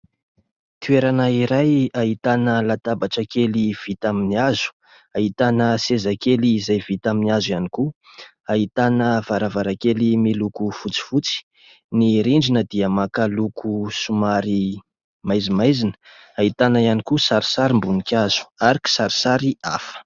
Toerana iray ahitana latabatra kely vita amin'ny hazo. Ahitana sezakely izay vita amin'ny hazo ihany koa. Ahitana varavarankely miloko fotsifotsy. Ny rindrina dia maka loko somary maizimaizina. Ahitana ihany koa sarisarim-boninkazo ary kisarisary hafa.